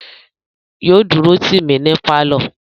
Yóò dúró tì mí ní pálọ̀